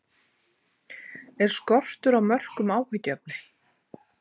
Er skortur á mörkum áhyggjuefni?